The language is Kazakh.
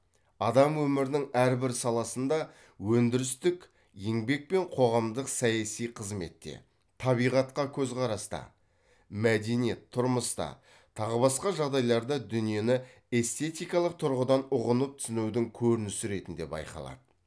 адам өмірінің әрбір саласында өндірістік еңбек пен қоғамдық саяси қызметте табиғатқа көзқараста мәдениет тұрмыста тағы басқа жағдайларда дүниені эстетикалық тұрғыдан ұғынып түсінудің көрінісі ретінде байқалады